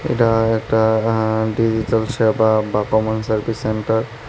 এটা একটা এ্য ডিজিটাল শপার বা কমোন সার্ভিস সেন্টার ।